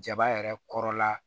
Jaba yɛrɛ kɔrɔ la